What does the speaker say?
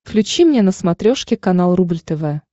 включи мне на смотрешке канал рубль тв